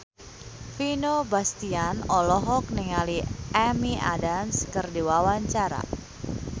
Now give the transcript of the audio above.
Vino Bastian olohok ningali Amy Adams keur diwawancara